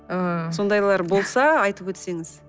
ы сондайлар болса айтып өтсеңіз